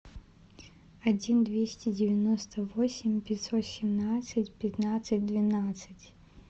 один двести девяносто восемь пятьсот семнадцать пятнадцать двенадцать